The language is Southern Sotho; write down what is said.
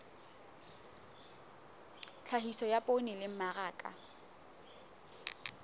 tlhahiso ya poone le mmaraka